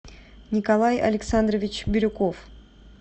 николай александрович бирюков